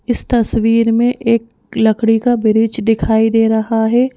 इस तस्वीर में एक लकड़ी का ब्रिज दिखाई दे रहा है।